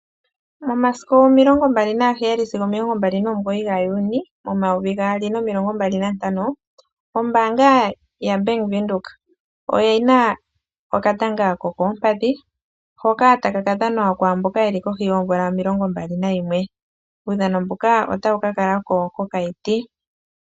Omasiku 27 sigo 29 Juni 2025, ombaanga yavenduka oyina okatanga kokoompadhi hoka taka ka dhanwa kwaamboka yeli kohi yoomvula 21, uudhano mbuka otawu ka kala ko kOkaiti.